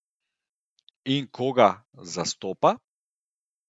In koga zastopa?